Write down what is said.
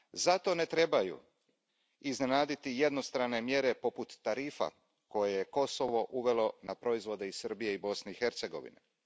Zato ne trebaju iznenaditi jednostrane mjere poput tarifa koje je Kosovo uvelo na proizvode iz Srbije i Bosne i Hercegovine.